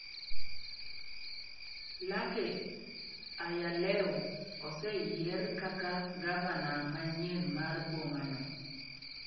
Lake Ayalew oseyier kaka gavana manyien mar boma no.